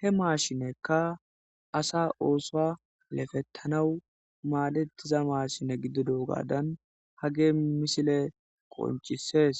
he maashinekka asa oosoa lefettanawu maadettiza maashine giddido gaadan hage misile qoncisees